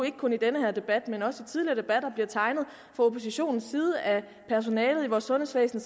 ikke kun i den her debat men også i tidligere debat bliver tegnet af oppositionen af personalet i vores sundhedsvæsen